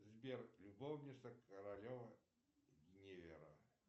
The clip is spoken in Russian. сбер любовница королева гвиневра